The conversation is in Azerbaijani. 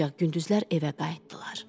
Ancaq gündüzlər evə qayıtdılar.